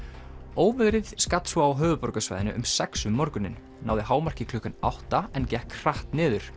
óveðrið skall svo á höfuðborgarsvæðinu um sex um morguninn náði hámarki klukkan átta en gekk hratt niður